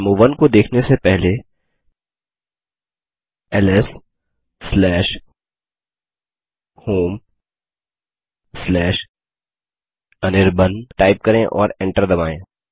डेमो1 को देखने से पहले lshomeअनिर्बाण टाइप करें और एंटर दबायें